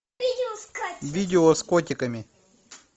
видео с котиками